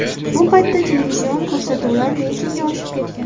Bu paytda televizion ko‘rsatuvlar reytingi oshib ketgan.